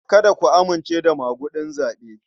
Kada ku amince da maguɗin zaɓe.